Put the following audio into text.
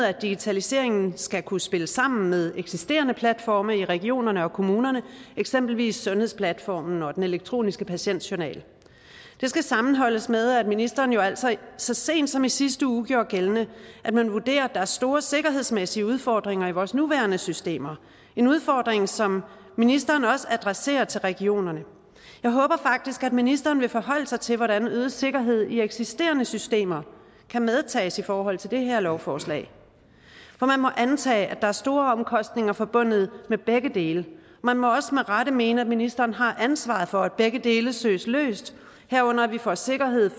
at digitaliseringen skal kunne spille sammen med eksisterende platforme i regionerne og kommunerne eksempelvis sundhedsplatformen og den elektroniske patientjournal det skal sammenholdes med at ministeren jo altså så sent som i sidste uge gjorde gældende at man vurderer at der er store sikkerhedsmæssige udfordringer i vores nuværende systemer udfordringer som ministeren også adresserer til regionerne jeg håber faktisk at ministeren vil forholde sig til hvordan øget sikkerhed i eksisterende systemer kan medtages i forhold til det her lovforslag for man må antage at der er store omkostninger forbundet med begge dele man må også med rette mene at ministeren har ansvaret for at begge dele søges løst herunder at vi får sikkerhed